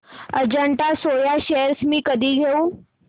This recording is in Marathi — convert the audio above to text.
अजंता सोया शेअर्स मी कधी घेऊ